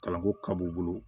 Kalanko ka b'u bolo